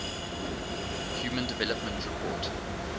human development report